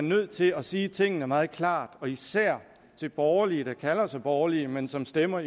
nødt til at sige tingene meget klart især til borgerlige der kalder sig borgerlige men som stemmer